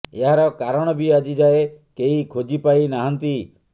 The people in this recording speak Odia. ଏହାର କାରଣ ବି ଆଜି ଯାଏ କେହି ଖୋଜି ପାଇ ନାହାନ୍ତି